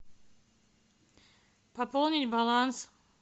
пополнить баланс